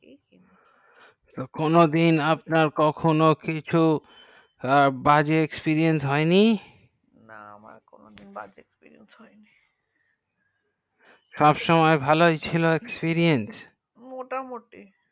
কোনো দিন আপনার কখনো বাজে experience হয়নি না আমার বাজে experience হয়নি সব সময় ভালোই ছিল সিরিঞ্চ